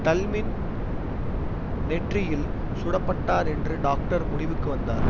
டல்மின் நெற்றியில் சுடப்பட்டார் என்று டாக்டர் முடிவுக்கு வந்தார்